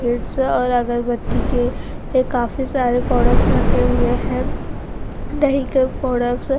Kids और अगरबत्ती के काफी सारे प्रोडक्ट्स रखे हुए है दही के प्रोडक्ट्स ।